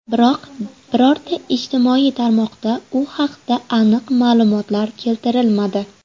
Biroq birorta ijtimoiy tarmoqda u haqda aniq ma’lumotlar keltirilmadi.